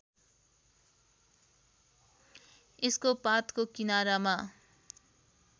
यसको पातको किनारामा